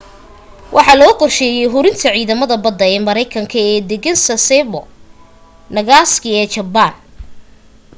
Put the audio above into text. waxa loo qorsheeyay hurinta ciidamada badda ee maraykanka ee deggan sasebo nagasaki ee jabbaan